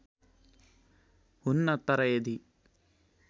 हुन्न तर यदि